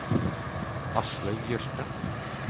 Aslaug Jørstad